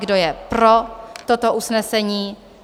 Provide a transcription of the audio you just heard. Kdo je pro toto usnesení?